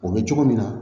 O bɛ cogo min na